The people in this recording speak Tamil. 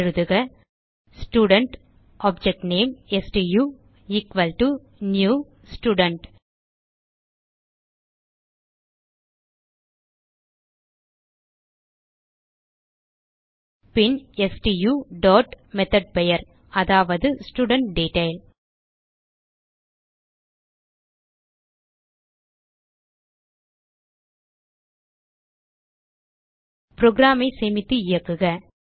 எழுதுக student object name stu equal to new student பின் ஸ்டு டாட் மெத்தோட் பெயர் அதாவதுstudentDetail programஐ சேமித்து இயக்குக